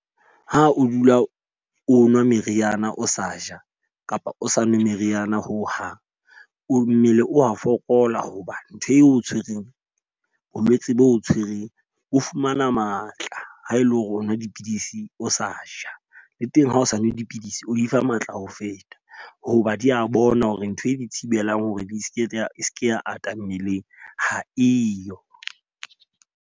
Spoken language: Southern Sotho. Ha o dula o nwa meriana o sa ja kapa o sa nwe meriana ho hang. O mmele o a fokola ho ba ntho eo tshwereng bolwetse bo tshwereng bo fumana matla ha ele hore o nwa dipidisi o sa ja. Le teng ha o sa nwe dipidisi, o di fa matla ho feta hoba di a bona hore ntho e di thibelang hore di seke tsa e seke ya ata mmeleng ha eyo.